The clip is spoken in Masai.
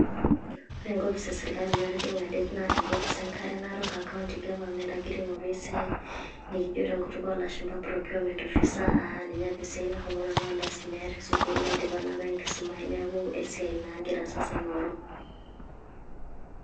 Ore enkopis esirkali natijing'a det, na enkopis enkare Narok e county government agira aing'oru esiai, nikijo tenkutuk olashumpa procurement officer ,ah ninye apa esiai nashomo nanu alo aisumeya tesukuul, naidipa na apa enkisuma ai neeku esiai naa agira sasa aing'oru.